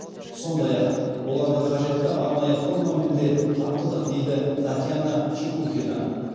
сондай ақ оларды қажетті арнайы формамен де қамтыдық дейді татьяна чепухина